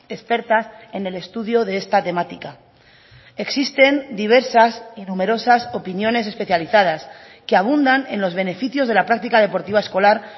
expertas en el estudio de esta temática existen diversas y numerosas opiniones especializadas que abundan en los beneficios de la práctica deportiva escolar